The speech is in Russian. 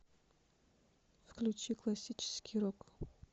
включи классический рок